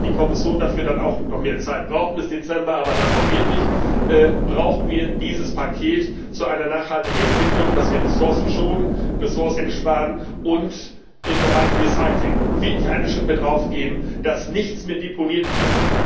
Auch wenn die Kommission dafür dann noch mehr Zeit braucht bis Dezember, aber dann brauchen wir dieses Paket auch wirklich zu einer nachhaltigen Entwicklung, dass wir Ressourcen schonen, Ressourcen einsparen und im Bereich Recycling wirklich eine Schippe draufgeben, dass nichts mehr deponiert wird.